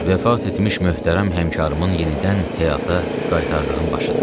Vəfat etmiş möhtərəm həmkarımın yenidən həyata qaytardığım başıdır.